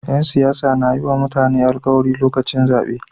Yan siyasa na yiwa mutane alkawari lokacin zabe